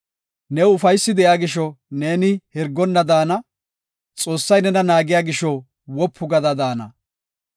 New ufaysi de7iya gisho neeni hirgonna daana; Xoossay nena naagiya gisho wopu gada daana.